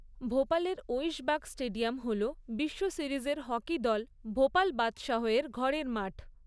ভোপালের Aishbagh stadium হল বিশ্ব সিরিজের হকি দল ভোপাল বাদশাহের ঘরের মাঠ।